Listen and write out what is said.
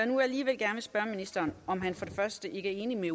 nu alligevel gerne spørge ministeren om han for det første ikke er enig med